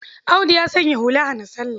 Audu ya sanya hula hana-salla.